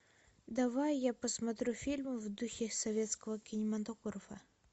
давай я посмотрю фильм в духе советского кинематографа